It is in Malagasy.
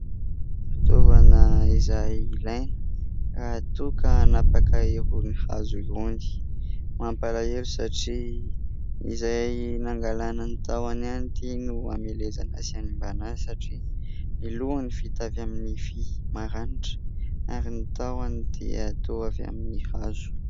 Fitaovana izay ilaina raha toa ka hanapaka irony hazo irony. Mampalahelo satria izay nangalana ny tahony ihany ity no hamelezana sy hanimbana azy satria ny lohany vita avy amin'ny vy maranitra ary ny tahony dia toa avy amin'ny hazo.